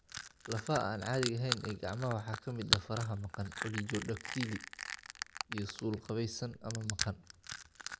Lafaha aan caadiga ahayn ee gacmaha waxaa ka mid ah faraha maqan (oligodactyly) iyo suul qaabaysan ama maqan.